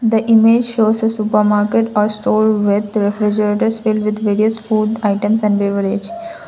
the image shows a supermarket and store work refrigerators fill with food items and leverage.